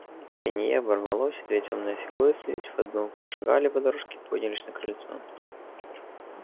пенье оборвалось и две тёмные фигуры слились в одну прошагали по дорожке и поднялись на крыльцо